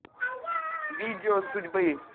видео судьбы